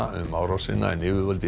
um árásina en yfirvöld í